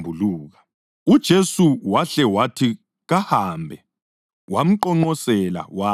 UJesu wahle wathi kahambe, wamqonqosela wathi,